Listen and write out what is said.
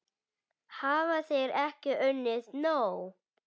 Hafa þeir ekki unnið nóg?